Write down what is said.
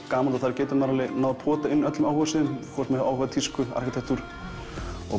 gaman að þar getur maður náð að pota inn öllum áhugasviðum hvort með áhuga á tísku eða arkitektúr og